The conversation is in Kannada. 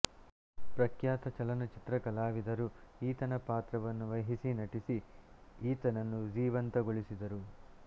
ಪ್ರಖ್ಯಾತ ಚಲನಚಿತ್ರ ಕಲಾವಿದರು ಈತನ ಪಾತ್ರವನ್ನು ವಹಿಸಿ ನಟಿಸಿ ಈತನನ್ನು ಜೀವಂತಗೊಳಿಸಿದರು